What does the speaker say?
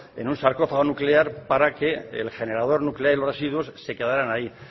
en un sarcófago nuclear para que el generador nuclear y los residuos se quedarán ahí